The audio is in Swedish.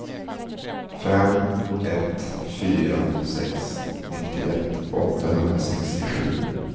fem ett fyra sex nittioett åttahundrasextiosju